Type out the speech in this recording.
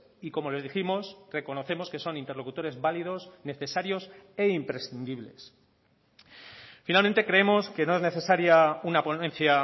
y como les dijimos reconocemos que son interlocutores válidos necesarios e imprescindibles finalmente creemos que no es necesaria una ponencia